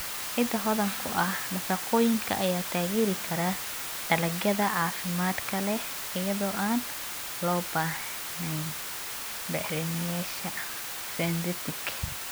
Ciidda hodanka ku ah nafaqooyinka ayaa taageeri kara dalagyada caafimaadka leh iyada oo aan loo baahnayn bacrimiyeyaasha synthetic.